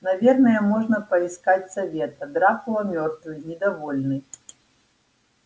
наверное можно поискать совета дракула мёртвый недовольный